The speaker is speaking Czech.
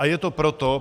A je to proto.